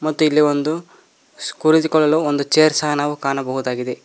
ಮತ್ತೆ ಇಲ್ಲಿ ಒಂದು ಸ್ಕುಳಿತುಕೊಳ್ಳಲು ಒಂದು ಚೇರ್ ಸಹ ನಾವು ಕಾಣಬಹುದಾಗಿದೆ.